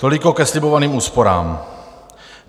Toliko ke slibovaným úsporám.